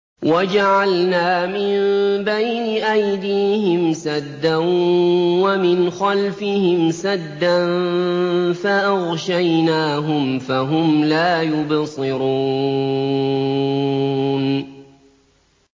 وَجَعَلْنَا مِن بَيْنِ أَيْدِيهِمْ سَدًّا وَمِنْ خَلْفِهِمْ سَدًّا فَأَغْشَيْنَاهُمْ فَهُمْ لَا يُبْصِرُونَ